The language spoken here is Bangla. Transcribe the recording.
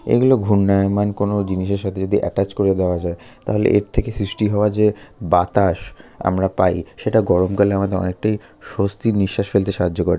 এগুলো ঘূর্ণায়মান কোন জিনিসের সাথে যদি এটাচ করে দেওয়া যায় তাহলে এর থেকে সৃষ্টি হওয়া যে বাতাস আমরা পাই। সেটা গরমকালে আমাদের অনেকটাই স্বস্তির নিঃশ্বাস ফেলতে সাহায্য করে।